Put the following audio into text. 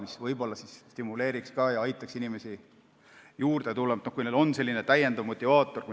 See võib-olla stimuleeriks ja aitaks inimesi juurde saada, kui neil on lisamotivaator.